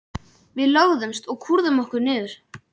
Við lögðumst og kúrðum okkur niður.